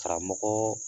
Karamɔgɔ